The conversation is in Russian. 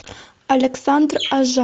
александр